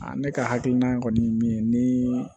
ne ka hakilina kɔni ye min ye ni